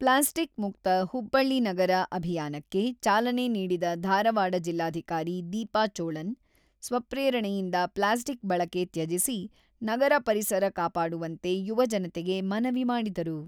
Plastic ಮುಕ್ತ ಹುಬ್ಬಳ್ಳಿ ನಗರ ಅಭಿಯಾನಕ್ಕೆ ಚಾಲನೆ ನೀಡಿದ ಧಾರವಾಡ ಜಿಲ್ಲಾಧಿಕಾರಿ ದೀಪಾ ಚೋಳನ್, ಸ್ವಪ್ರೇರಣೆಯಿಂದ ಪ್ಲಾಸ್ಟಿಕ್ ಬಳಕೆ ತ್ಯಜಿಸಿ, ನಗರ ಪರಿಸರ ಕಾಪಾಡುವಂತೆ ಯುವಜನತೆಗೆ ಮನವಿ ಮಾಡಿದರು.